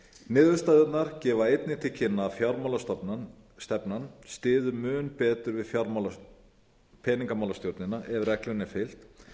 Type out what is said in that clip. niðurstöðurnar gefa einnig til kynna að fjármálastefnan styður mun betur við peningamálastjórnina ef reglunni er fylgt